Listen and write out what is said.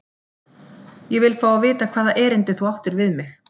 Ég vil fá að vita hvaða erindi þú áttir við mig?